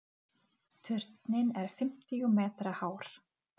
Ég ætla að fá tvo miða.